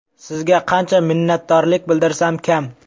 Sizga qancha minnatdorlik bildirsam kam!